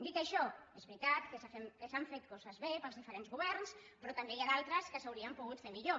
dit això és veritat que s’han fet coses bé pels diferents governs però també n’hi ha d’altres que s’haurien pogut fer millor